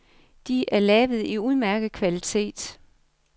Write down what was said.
De er lavet i udmærket kvalitet.